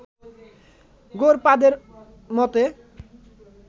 গৌড়পাদের মতে